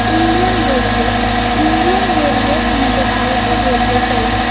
Indian railway Indian railway আমাদের ভারতের railway service.